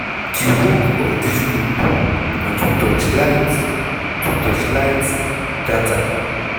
di work of dis group na to torchlight to torchlight data